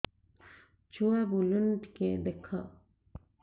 ଛୁଆ ବୁଲୁନି ଟିକେ ଦେଖ